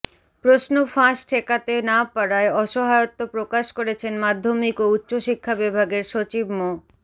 প্রশ্ন ফাঁস ঠেকাতে না পারায় অসহায়ত্ব প্রকাশ করেছেন মাধ্যমিক ও উচ্চ শিক্ষা বিভাগের সচিব মো